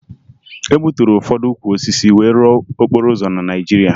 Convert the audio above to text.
E gbuturu ụfọdụ ukwu osisi wee rụọ okporo ụzọ na Naịjirịa